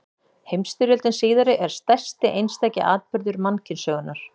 Heimsstyrjöldin síðari er stærsti einstaki atburður mannkynssögunnar.